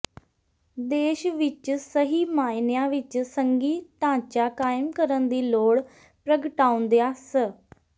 ਦੇਸ਼ ਵਿੱਚ ਸਹੀ ਮਾਅਨਿਆਂ ਵਿੱਚ ਸੰਘੀ ਢਾਂਚਾ ਕਾਇਮ ਕਰਨ ਦੀ ਲੋੜ ਪ੍ਰਗਟਾਉਂਦਿਆਂ ਸ